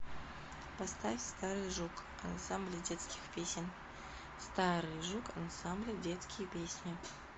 поставь старый жук ансамбля детских песен старый жук ансамбля детские песни